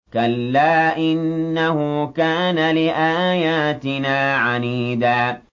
كَلَّا ۖ إِنَّهُ كَانَ لِآيَاتِنَا عَنِيدًا